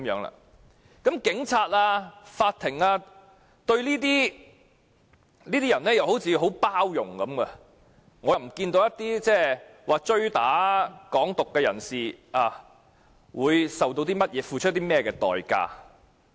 而且，警察和法庭對於這些人似乎相當包容，未見那些追打被指"港獨"人士的人為此付出代價。